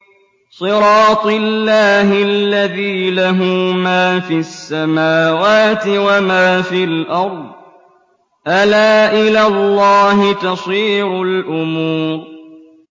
صِرَاطِ اللَّهِ الَّذِي لَهُ مَا فِي السَّمَاوَاتِ وَمَا فِي الْأَرْضِ ۗ أَلَا إِلَى اللَّهِ تَصِيرُ الْأُمُورُ